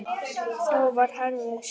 Þá var Herði skemmt.